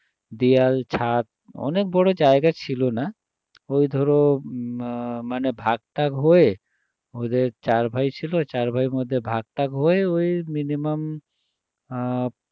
দেওয়াল ছাদ অনেক বড়ো জায়গা ছিল না ওই ধরো আহ মানে ভাগ টাগ হয়ে ওদের চারভাই ছিল চারভাগের মধ্যে ভাগ টাগ হয়ে ওই minimum আহ